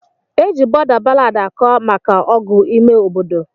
Eji bọda ballad akọ maka ọgụ ime obodo.